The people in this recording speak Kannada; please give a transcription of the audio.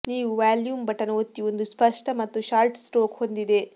ನೀವು ವಾಲ್ಯೂಮ್ ಬಟನ್ ಒತ್ತಿ ಒಂದು ಸ್ಪಷ್ಟ ಮತ್ತು ಶಾರ್ಟ್ ಸ್ಟ್ರೋಕ್ ಹೊಂದಿದೆ